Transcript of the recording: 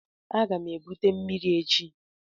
Aga m ebute mmiri echi.